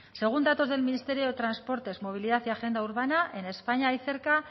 según datos del ministerio de transportes movilidad y agenda urbana en españa hay cerca